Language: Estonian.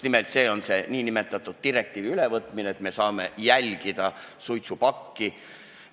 Ma pean silmas selle direktiivi ülevõtmist ja seda, et me saame suitsupakki jälgida.